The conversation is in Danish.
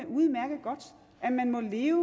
udmærket godt at man må leve